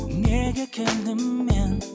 неге келдім мен